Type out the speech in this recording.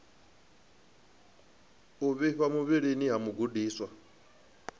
u vhifha muvhilini ha mugudiswa